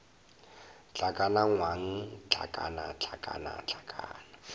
hlakana ngwang hlakana hlakana hlakana